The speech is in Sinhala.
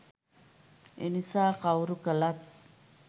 එනිසා කවුරු කලත්